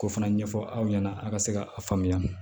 K'o fana ɲɛfɔ aw ɲɛna a ka se ka a faamuya